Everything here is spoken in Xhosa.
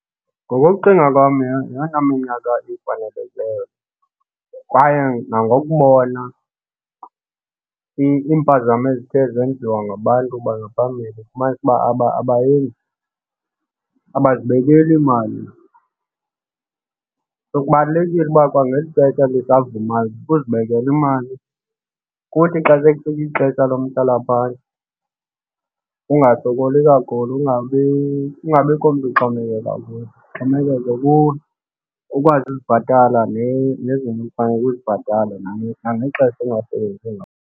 Ngokokucinga kwam yeyona minyaka efanelekileyo le. Kwaye nangobubona iimpazamo ezithe zenziwa ngabantu bangaphambili ufumanise uba abazibekeli imali. So, kubalulekile uba kwangeli xesha lisavumayo uzibekela imali kuthi xa sekufike ixesha lo mhlalaphantsi ungasokoli kakhulu kungabi, kungabikho mntu oxhomekeka kuye ixhomekeke kuwe. Ukwazi ukuzibhatala nezinto ekufaneleke uzibhatale nangexesha ungasebenzi ngalo.